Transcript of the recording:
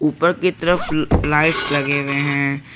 ऊपर की तरफ लाइट्स लगे हुए हैं।